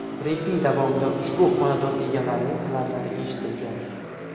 Brifing davomida ushbu xonadon egalarining talablari eshitilgan.